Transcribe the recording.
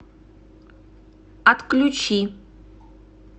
отключи